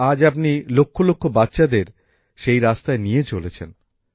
আর আজ আপনি লক্ষ লক্ষ বাচ্চাদের সেই রাস্তায় নিয়ে চলেছেন